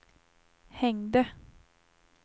hängde